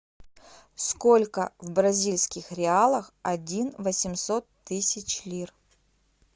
сколько в бразильских реалах один восемьсот тысяч лир